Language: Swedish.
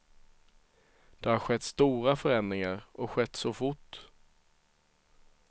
Det har skett stora förändringar, och skett så fort.